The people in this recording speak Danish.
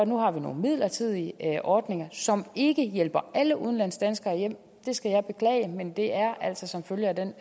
nu har nogle midlertidige ordninger som ikke hjælper alle udenlandsdanskere hjem det skal jeg beklage men det er altså som følge af den